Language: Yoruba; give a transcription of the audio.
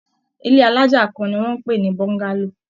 Ilé alájà kan ni wọ́n ń pè ní Bọ́ńgálò